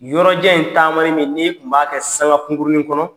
Nin yɔrɔjan in taamanin min n'i tun b'a kɛ sanga kungurunin kɔnɔ